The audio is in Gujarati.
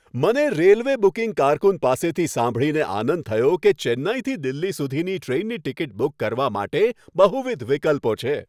મને રેલવે બુકિંગ કારકુન પાસેથી સાંભળીને આનંદ થયો કે ચેન્નઈથી દિલ્હી સુધીની ટ્રેનની ટિકિટ બુક કરવા માટે બહુવિધ વિકલ્પો છે.